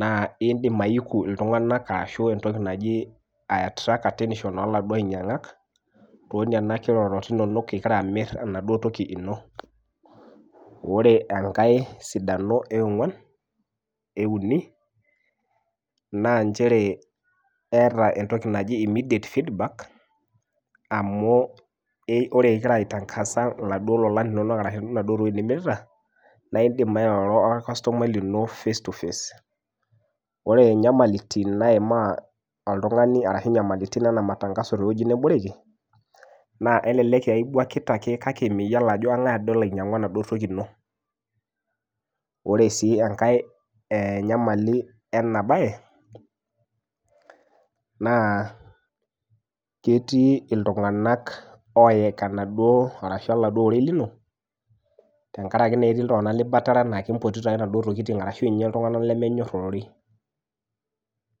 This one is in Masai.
naa indim aiku iltung'anak ashu entoki naji ae attract attention oladuo ainyiang'ak tonenia kirorot inonok ikira amirr enaduo toki ino ore enkae sidano eong'uan euni naa nchere eeta entoki naji immediate feedback amu ei ore ikira aitangasa iladuo lolan linonok arashu inaduo tokiting nimirita naidim airoro orkastomai lino face to face ore inyamalitin naimaa oltung'ani ashu inyamalitin ena matangaso tewuei neboreki naa elelek aibuakita ake kake miyiolo ajo keng'ae ade olo ainyiang'u enaduo toki ino ore sii enkae eh nyamali ena baye naa ketii iltung'anak oyek enaduo arashu oladuo rorei lino tenkarake naa etii iltung'anak libatare enaake impotito ake inaduo tokiting arashu inye iltung'anak lemenyorr ororei.